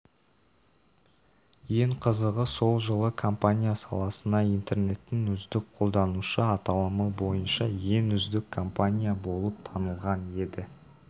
ең қызығы сол жылы компания саласына интернеттің үздік қолданушы аталымы бойынша ең үздік компания болып танылған еді